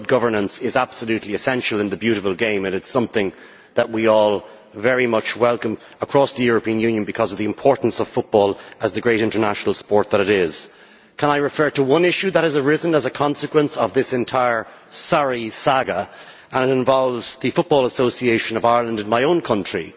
Good governance is absolutely essential in the beautiful game and is something that we all very much welcome across the European Union because of the importance of football as the great international sport that it is. I would like to refer to one issue which has arisen as a consequence of this entire sorry saga and which involves the Football Association of Ireland in my own country,